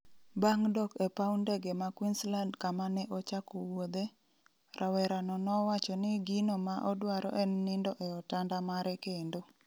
Bang' dok e pau ndege ma Queensland kama ne ochako wuodhe, rawera no nowacho ni gino ma odwaro en nindo e otanda mare kendo.